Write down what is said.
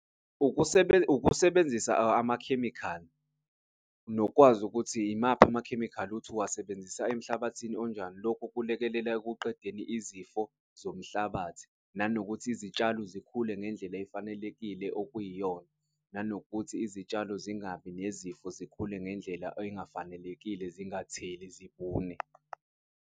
Ukusebenzisa amakhemikhali nokwazi ukuthi imaphi amakhemikhali ukuthi uwasebenzisa emhlabathini onjani. Lokhu kulekelela ekuqedeni izifo zomhlabathi nanokuthi izitshalo zikhule ngendlela efanelekile, okuyiyona nanokuthi izitshalo zingabi nezifo zikhule ngendlela engafanelekile, zingatheli zibune.